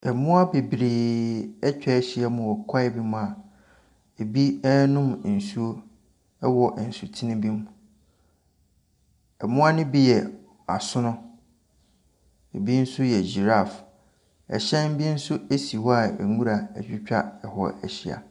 Mmoa bebreeeee atwa ahyia mu wɔ kwaeɛ bi mu a ɛbi renom nsuo wɔ nsutene bi mu. Mmoa no bi yɛ asono. Ɛbi nso yɛ giraffe. Ɛhyɛn bi nso si hɔ a nwura atwitwa ho ahyia.